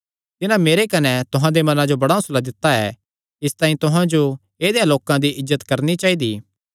तिन्हां मेरे कने तुहां दे मनां जो बड़ा हौंसला दित्ता ऐ इसतांई तुहां जो ऐदेयां लोकां दी इज्जत करणी चाइदी